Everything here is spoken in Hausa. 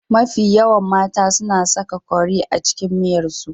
Mafi yawan mata su na saka kori a cikin miyarsu.